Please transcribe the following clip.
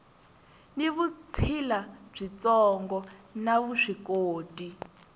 ni vutshila byitsongo na vuswikoti